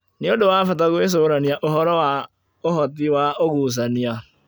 Nĩ ũndũ wa bata gwĩcũrania ũhoro wa ũhoti wa ũgucania